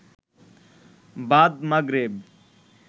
বাদ মাগরেব